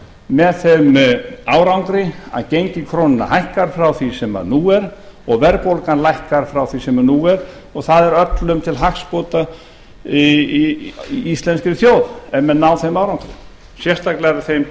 með þeim árangri að gengi krónunnar hækkar frá því sem nú er og verðbólgan lækkar frá því sem nú er og það er öllum til hagsbóta í íslenskri þjóð ef menn ná þeim árangri sérstaklega er það þeim til